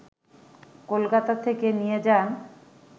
কলকাতা থেকে নিয়ে যান